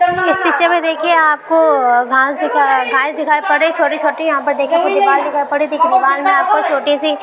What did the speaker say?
इस पिक्चर में देखिए आपको आ घास दिखा घास दिखाई पड़ रही छोटी छोटी यहाँ पर देखिए दीवाल दिखाई पड़ रही देख दीवाल में आपको छोटी सी --